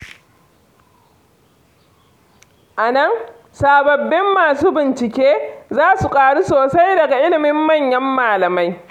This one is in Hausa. A nan, sababbin masu bincike, za su ƙaru sosai daga ilimin manyan malamai.